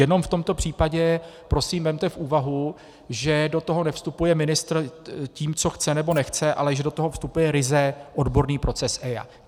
Jenom v tomto případě prosím vezměte v úvahu, že do toho nevstupuje ministr tím, co chce, nebo nechce, ale že do toho vstupuje ryze odborný proces EIA.